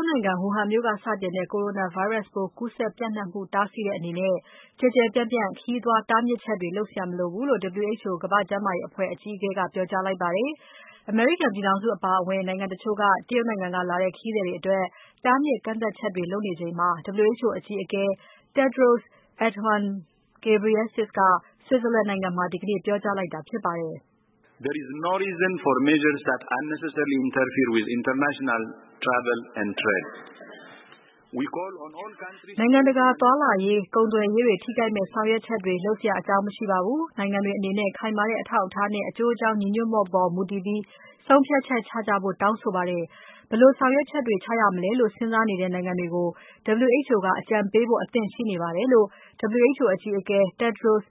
်နိုင်ငံ Wuhan မြို့က စတင်တဲ့ Corona ဗိုင်းရပ်စ်ပိုး ကူးစက်ပျံ့နှံ့မှု တားဆီးတဲ့အနေနဲ့ ကျယ်ကျယ်ပြန့်ပြန့် ခရီးသွားတားမြစ်ချက်တွေ လုပ်စရာမလိုဘူးလို့ WHO ကမ္ဘာ့ကျန်းမာရေး အဖွဲ့အကြီးအကဲက ပြောကြားလိုက်ပါတယ်။ အမေရိကန်ပြည်ထောင်စုအပါအဝင် နိုင်ငံတချို့က တရုတ်နိုင်ငံကလာတဲ့ ခရီးသည်တွေအတွက် တားမြစ် ကန့်သတ်ချက်တွေ လုပ်နေချိန်မှာ WHO အကြီးအကဲ Tedros Adhanom Ghebreyesus က Switzerland နိုင်ငံမှာ ဒီကနေ့ ပြောကြားလိုက်တာဖြစ်ပါတယ်။ နိုင်ငံတကာ သွားလာရေး၊ ကုန်သွယ်ရေးတွေ ထိခိုက်မယ့် ဆောင်ရွက်ချက်တွေ လုပ်စရာအကြောင်း မရှိပါဘူး။ နိုင်ငံတွေအနေနဲ့ ခိုင်မာတဲ့ အထောက်အထားနဲ့ အကျိုးအကြောင်း ညီညွှတ်မှုပေါ် မူတည်ပြီး ဆုံးဖြတ်ချက်ချကြဖို့ တောင်းဆိုပါတယ်။ ဘယ်လိုဆောင်ရွက်ချက်တွေ ချရမလဲလို့ စဉ်းစားနေတဲ့ နိုင်ငံတွေကို WHO က အကြံပေးဖို့ အသင့်ရှိနေပါတယ်လို့ WHO အကြီးအကဲ Tedros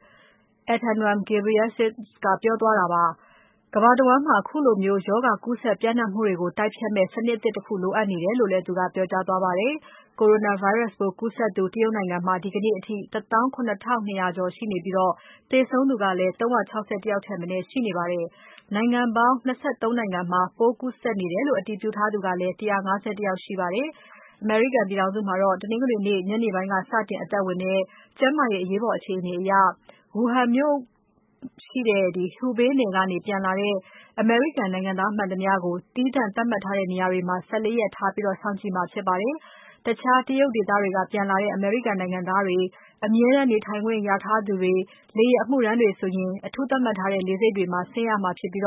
Adhanom Ghebreyesus က ပြောသွားတာ ဖြစ်ပါတယ်။ ကမ္ဘာတဝန်းမှာ ခုလိုမျိုးရောဂါ ကူးစက်ပျံ့နှံ့မှုတွေကို တိုက်ဖျက်နိုင်မယ့် စနစ်သစ်တခု လိုအပ်နေတယ်လို့လည်း ပြောကြားသွားပါတယ်။ Coronavirus ပိုးကူးစက်သူ တရုတ်နိုင်ငံမှာ ဒီကနေ့အထိ ၁၇,၂၀၀ ကျော်ရှိနေပြီး သေဆုံးသူ ၃၆၁ ယောက်ထက်မနည်း ရှိနေပါတယ်။ နိုင်ငံပေါင်း ၂၃ နိုင်ငံမှာ ပိုးကူးစက်နေတယ်လို့ အတည်ပြုထားသူကလည်း ၁၅၁ ယောက် ရှိပါတယ်။ အမေရိကန်ပြည်ထောင်စုမှာ တနင်္ဂနွေနေ့ ညနေပိုင်းကစတင် အသက်ဝင်တဲ့ ကျန်းမာရေးအရေးပေါ် အခြေအနေအရ ဝူဟန်မြို့ရှိတဲ့ Hubei နယ်ကနေ ပြန်လာတဲ့ အမေရိကန်နိုင်ငံသား မှန်သမျှကို သီးသန့်သတ်မှတ်ထားတဲ့ နေရာတွေမှာ ၁၄ ရက်ထားပြီး စောင့်ကြည့်မှာ ဖြစ်ပါတယ်။ တခြားတရုတ်ဒေသတွေက ပြန်လာတဲ့ အမေရိကန်နိုင်ငံသားတွေ၊ အမြဲတမ်းနေထိုင်ခွင့်ရထားသူတွေ၊ လေယာဉ်အမှုထမ်းနေသူတွေဆိုရင် အထူးသတ်မှတ်ထားတဲ့ လေဆိပ်တွေမှာ ဆင်းရမှာဖြစ်ပြီး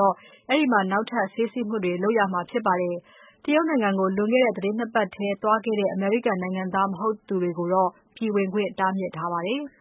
အဲဒီမှာ နောက်ထပ် ဆေးစစ်မှုတွေ လုပ်မှာ ဖြစ်ပါတယ်။ တရုတ်နိုင်ငံကို လွန်ခဲ့တဲ့ သီတင်း နှစ်ပတ်ထဲ သွားခဲ့တဲ့ အမေရိကန်နိုင်ငံသား မဟုတ်သူတွေကိုတော့ ပြည်ဝင်ခွင့် တားမြစ်ထားပါတယ်။